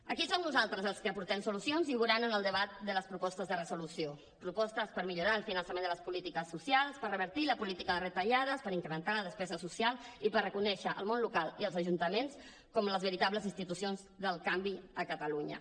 aquí som nosaltres els que aportem solucions i ho veuran en el debat de les propostes de resolució propostes per millorar el finançament de les polítiques socials per revertir la política de retallades per incrementar la despesa social i per reconèixer el món local i els ajuntaments com les veritables institucions del canvi a catalunya